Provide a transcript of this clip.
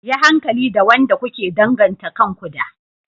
Yi hankali da wanda kuke danganta kanku da.